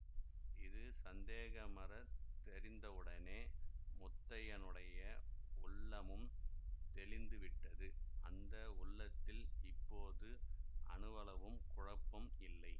இது சந்தேகமறத் தெரிந்தவுடனே முத்தையனுடைய உள்ளமும் தெளிந்துவிட்டது அந்த உள்ளத்தில் இப்போது அணுவளவும் குழப்பம் இல்லை